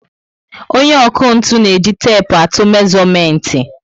Onye ọkụ ntụ na eji tepu atụ mezuomenti